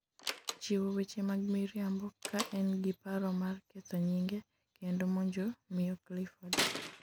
chiwo weche mag miriambo ka en gi paro mar ketho nying'e kendo monjo miyo Clifford